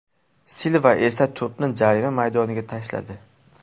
Silva esa to‘pni jarima maydoniga tashladi.